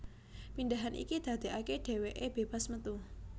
Pindhahan iki dadekake dheweke bebas metu